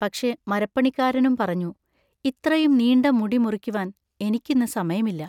പക്ഷെ മരപ്പണിക്കാരനും പറഞ്ഞു, ഇത്രയും നീണ്ട മുടി മുറിക്കുവാൻ എനിക്കിന്ന് സമയമില്ല.